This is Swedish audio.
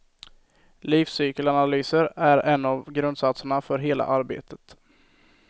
Livscykelanalyser är en av grundsatserna för hela arbetet.